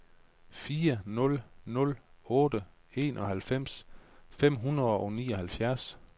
fire nul nul otte enoghalvfems fem hundrede og nioghalvfjerds